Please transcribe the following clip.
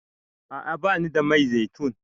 A'a bani da mai zaitun.